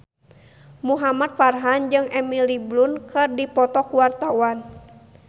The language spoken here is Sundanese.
Muhamad Farhan jeung Emily Blunt keur dipoto ku wartawan